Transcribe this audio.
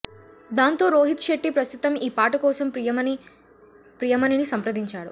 దాంతో రోహిత్ శెట్టి ప్రస్తుతం ఈ పాట కోసం ప్రియమణిని సంప్రదించాడు